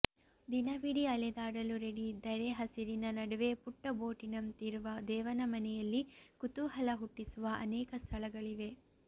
ದಿನವಿಡೀ ಅಲೆದಾಡಲು ರೆಡಿಯಿದ್ದರೆ ಹಸಿರಿನ ನಡುವೆ ಪುಟ್ಟ ಬೊಟ್ಟಿನಂತಿರುವ ದೇವನಮನೆಯಲ್ಲಿ ಕುತೂಹಲ ಹುಟ್ಟಿಸುವ ಅನೇಕ ಸ್ಥಳಗಳಿವೆ